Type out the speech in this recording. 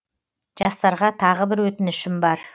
жастарға тағы бір өтінішім бар